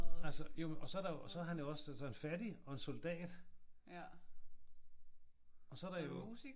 Altså jo og så er der jo så er han også så er han fattig og soldat. Og så er der jo